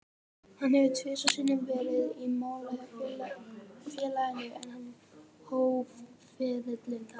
Hann hefur tvisvar sinnum verið á mála hjá félaginu, en hann hóf ferilinn þar.